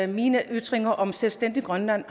mine ytringer om et selvstændigt grønland